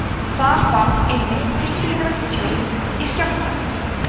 þar varð einmitt tilfinnanlegt tjón í skjálftanum